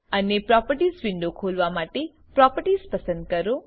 અને properties window ખોલવા માટે પ્રોપર્ટીઝ પસંદ કરો